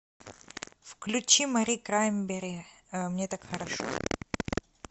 включи мари краймбрери мне так хорошо